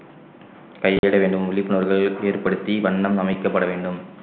கை இட வேண்டும் விழிப்புணர்வு ஏற்படுத்தி வண்ணம் அமைக்கப்பட வேண்டும்